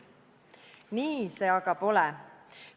Nii see aga pole.